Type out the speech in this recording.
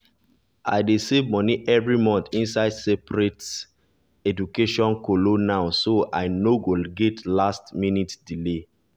i dey save money every month inside separate education kolo now so i no go get last minute delay